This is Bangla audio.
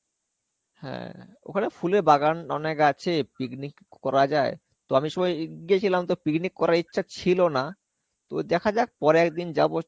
হ্যাঁ, ওখানে ফুলের বাগান অনেক আছে. picnic করা যায়. তো আমি সময় গে~ গেছিলাম তো picnic করার ইচ্ছা ছিলোনা, তবে দেখা যাক পরে একদিন যাবো